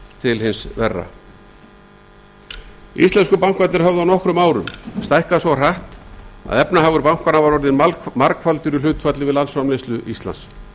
til hins verra íslensku bankarnir höfðu á nokkrum árum stækkað svo hratt að efnahagur þeirra var orðinn margfaldur í hlutfalli við landsframleiðslu íslands